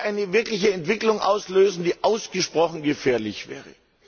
Das würde eine Entwicklung auslösen, die ausgesprochen gefährlich wäre.